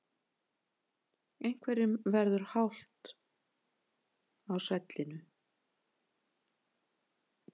Einhverjum verður halt á svellinu